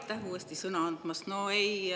Aitäh uuesti sõna andmast!